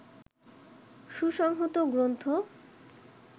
সুসংহত গ্রন্থ